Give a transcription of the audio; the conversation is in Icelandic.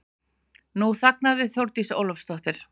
Nú þagnaði Þórdís Ólafsdóttir.